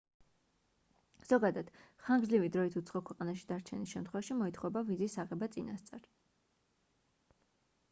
ზოგადად ხანგრძლივი დროით უცხო ქვეყანაში დარჩენის შემთხვევაში მოითხოვება ვიზის აღება წინასწარ